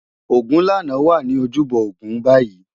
Ogunlana wá ni ójúbò ógún bàyi